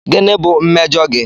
Gịnị bụ mmejọ gị?